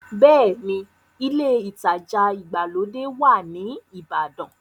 Bẹ́ẹ̀ni, ilé ìtajà ìgbàlódé wà ní ìbàdàn.